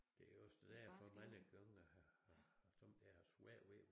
Det også derfor jeg mange gange har har sommetider haft svært ved